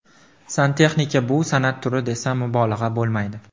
Santexnika bu san’at turi, desam mubolag‘a bo‘lmaydi.